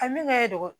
A min kɛ de